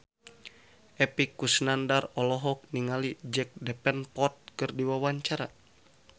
Epy Kusnandar olohok ningali Jack Davenport keur diwawancara